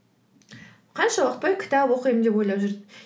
қанша уақыт бойы кітап оқимын деп ойлап жүрдім